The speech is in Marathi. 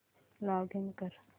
लॉगिन कर